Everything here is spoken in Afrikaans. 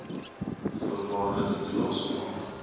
voorwaardelike toelaes maak